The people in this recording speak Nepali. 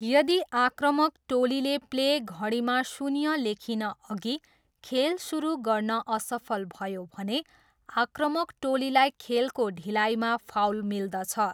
यदि आक्रामक टोलीले प्ले घडीमा शून्य लेखिनअघि खेल सुरु गर्न असफल भयो भने, आक्रामक टोलीलाई खेलको ढिलाइमा फाउल मिल्दछ।